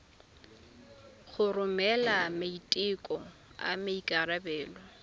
go romela maiteko a maikarebelo